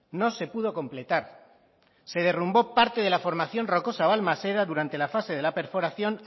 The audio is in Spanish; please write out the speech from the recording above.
no se pudo completar se derrumbó parte de la formación rocosa balmaseda durante la fase de la perforación